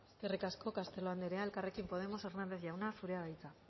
eskerrik asko castelo andrea elkarrekin podemos hernández jauna zurea da hitza